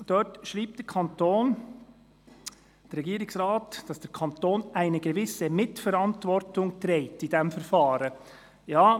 Dort schreibt der Regierungsrat, dass der Kanton «eine gewisse Mitverantwortung» in diesem Verfahren trägt.